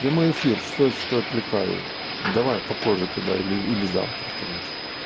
прямой эфир сори что отвлекаю давай попозже тогда или или завтра короче